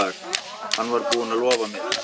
Hann var búinn að lofa mér.